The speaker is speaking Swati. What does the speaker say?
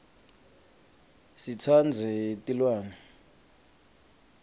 sitsandze tilwane